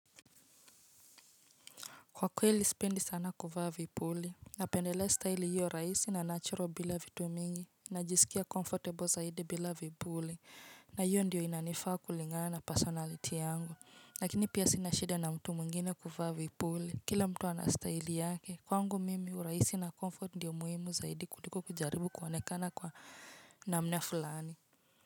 Kwa kweli spindi sana kuvaa vipuli napendelea style hiyo raisi na natural bila vitu mingi najisikia comfortable zaidi bila vipuli na hiyo ndiyo inanifaa kulingaana personality yangu lakini pia sinashida na mtu muingine kuvaa vipuli kila mtu anastyle yake kwangu mimi u raisi na comfort ndiyo muhimu zaidi kuliko kujaribu kuwonekana kwa namna fulani.